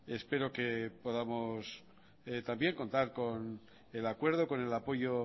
espero que podamos también contar con el apoyo